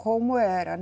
Como era